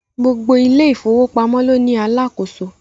Gbogbo ilé ìfọwọ́pamọ́ ló ní Alákóso